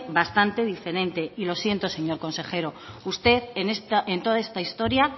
bastante diferente y lo siento señor consejero usted en toda esta historia